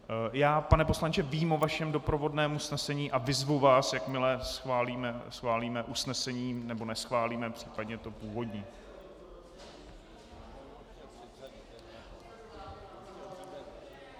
Já, pane poslanče, vím o vašem doprovodném usnesení a vyzvu vás, jakmile schválíme usnesení, nebo neschválíme případně to původní.